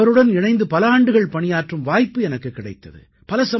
அவருடன் இணைந்து பல ஆண்டுகள் பணியாற்றும் வாய்ப்பு எனக்குக் கிடைத்தது